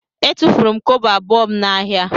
Etufuru m kobo abụọ m n'ahịa.